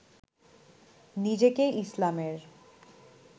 নিজেকে ইসলামের